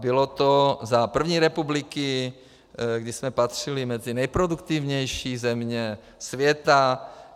Bylo to za první republiky, kdy jsme patřili mezi nejproduktivnější země světa.